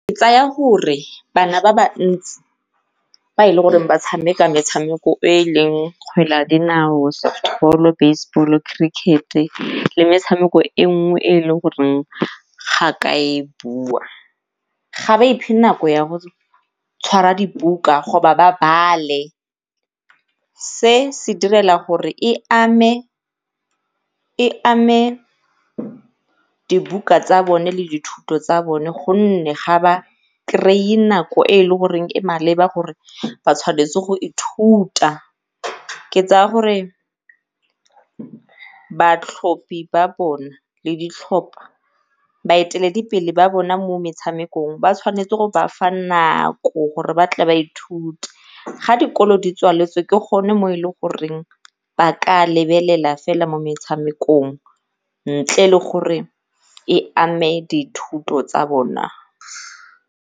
Tsaya gore bana ba ba ntsi ba e leng gore ba tshameka metshameko e e leng kgwele ya dinao, base ball-o, cricket-e le metshameko e nngwe e e le goreng ga ka e bua. Ga ba iphe nako ya gore tshwara dibuka ba bale se se direla gore e ame, e ame dibuka tsa bone le dithuto tsa bone gonne ga ba kry-e nako e e leng goreng e maleba gore ba tshwanetse go ithuta. Ke tsaya gore batlhopi ba bona le di tlhopa, baeteledipele ba bona mo metshamekong ba tshwanetse go ba fa nako gore ba tle ba ithute. Ga dikolo di tswaletswe ke gone mo e leng goreng ba ka lebelela fela mo metshamekong ntle le goreng e ame dithuto tsa bona.